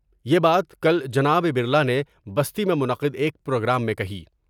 یہ بات کل جناب برلا نے بستی میں منعقد ایک پروگرام میں کہیں ۔